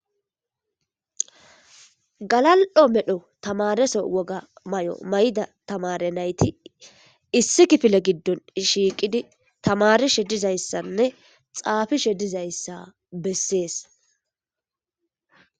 Galal7o medho tamareso woga may7o mayda tamare nayti issi kifile giddon shiiqidi tamari she dizayssanne xaafi she dizayssa bessees.